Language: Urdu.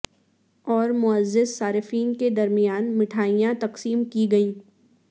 اور معزز صارفین کے درمیان مٹھائیاں تقسیم کی گئیں